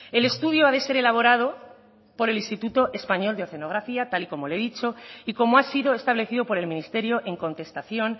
el estudio ha de ser elaborado por el instituto español de oceanografía tal y como le he dicho y como ha sido establecido por el ministerio en contestación